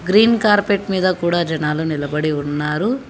Green carpet మీద కూడా జనాలు నిలబడి ఉన్నారు.